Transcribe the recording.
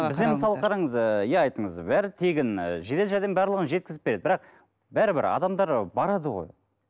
мысалы қараңыз ыыы иә айттыңыз бәрі тегін жедел жәрдем барлығын жеткізіп береді бірақ бәрібір адамдар барады ғой